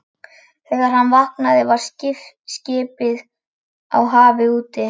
Þegar hann vaknaði var skipið á hafi úti.